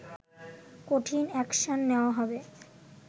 কঠিন অ্যাকশন নেওয়া হবে